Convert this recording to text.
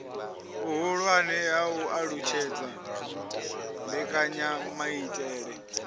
vhuhulwane ha u alutshedza mbekanyamaitele